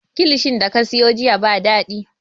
Kilishin da ka siyo jiya ba daɗi